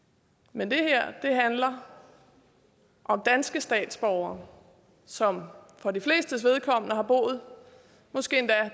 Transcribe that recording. men det her handler om danske statsborgere som for de flestes vedkommende har boet